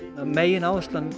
megináherslan